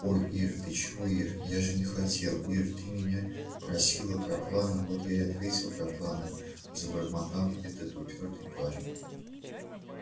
ой ир ты чего ир я же не хотел ир ты меня спросила про планы вот я и ответил про планы забормотал этот упёртый парень